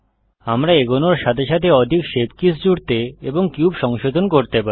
আমরা এগোনোর সাথে সাথে অধিক শেপ কীস জুড়তে এবং কিউব সংশোধন করতে পারি